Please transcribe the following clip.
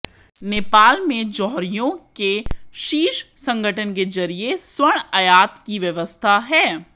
नेपाल में जौहरियों के शीर्ष संगठन के जरिये स्वर्ण आयात की व्यवस्था है